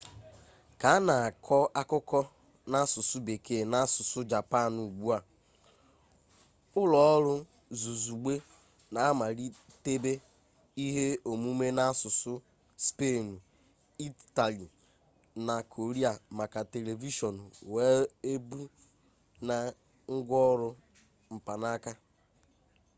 ka a na-akọ akụkọ n'asụsụ bekee na asụsụ japan ugbua ụlọọrụ zuzugbe na-amalitebe ihe omume n'asụsụ spenụ itali na koria maka televishọn weebụ na ngwaọrụ mkpanaka